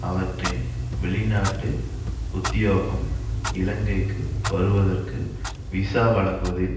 அவற்றின் வெளிநாட்டு உத்தியோகம் இலங்கைக்கு வருவதற்கு விசா வழங்குவதில்